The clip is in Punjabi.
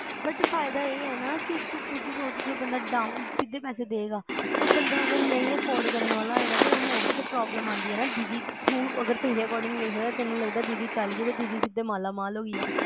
but ਫਾਇਦਾ ਇਹ ਆ ਨਾ ਕੇ ਤੂੰ ਖੁਦ੍ਹ ਸੋਚ ਕੇ ਬੰਦਾ down ਸਿੱਧਾ ਪੈਸੇ ਦਏਗਾ ਤੇ ਬੰਦਾ ਅਗਰ ਨਹੀਂ afforad ਕਰਨ ਵਾਲਾ ਹੋਏਗਾ ਤਾਂ ਉਹਨੂੰ ਉਹ ਵੀ problem ਆਂਦੀ ਆ ਨਾ ਤੂੰ ਅਗਰ ਤੇਰੇ according ਤੈਨੂੰ ਲੱਗਦਾ ਦੀਦੀ ਚਲੈ ਤੇ ਦੀਦੀ ਸਿਧੇ ਮਾਲਾਮਾਲ ਹੋਗੀ ਆ